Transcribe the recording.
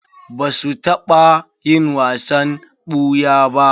Ba su taɓa yin wasan ɓuya ba.